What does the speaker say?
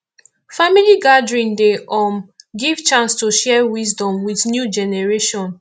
family gathering dey um give chance to share wisdom with new generation